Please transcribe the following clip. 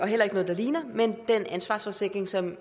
heller ikke noget der ligner men den ansvarsforsikring som